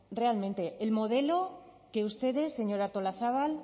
realmente el modelo que ustedes señora artolazabal